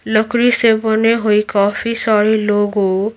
लकड़ी से बने हुई काफी सारे लोगों को --